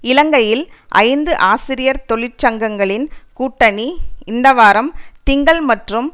இலங்கையில் ஐந்து ஆசிரியர் தொழிற்சங்கங்களின் கூட்டணி இந்த வாரம் திங்கள் மற்றும்